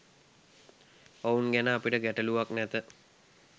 ඔවුන් ගැන අපිට ගැටළුවක් නැත.